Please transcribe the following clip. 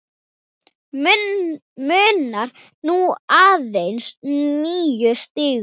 Munar nú aðeins níu stigum.